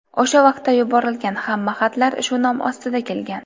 O‘sha vaqtda yuborilgan hamma xatlar shu nom ostida kelgan.